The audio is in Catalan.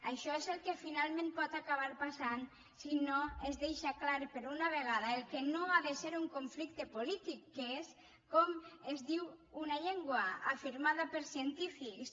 això és el que finalment pot acabar pas·sant si no es deixa clar per una vegada el que no ha de ser un conflicte polític que és com es diu una llen·gua afirmada per científics